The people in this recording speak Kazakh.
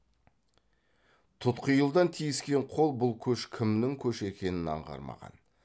тұтқиылдан тиіскен қол бұл көш кімнің көші екенін аңғармаған